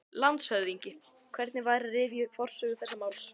LANDSHÖFÐINGI: Hvernig væri að rifja upp forsögu þessa máls?